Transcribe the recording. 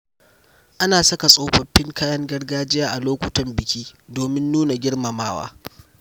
Ana saka tsofaffin kayan gargajiya a lokutan biki domin nuna girmamawa.